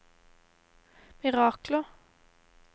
mirakler